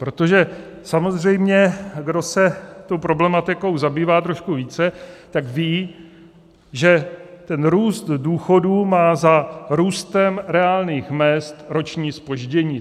Protože samozřejmě kdo se tou problematikou zabývá trošku více, tak ví, že ten růst důchodů má za růstem reálných mezd roční zpoždění.